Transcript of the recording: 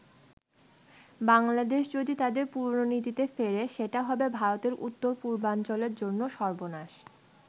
বাংলাদেশ যদি তাদের পুরনো নীতিতে ফেরে সেটা হবে ভারতের উত্তর-পূর্বাঞ্চলের জন্য সর্বনাশ।